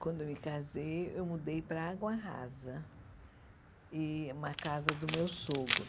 Quando eu me casei, eu mudei para Água Rasa, e uma casa do meu sogro.